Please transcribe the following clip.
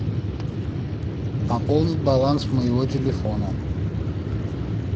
пополнить баланс моего телефона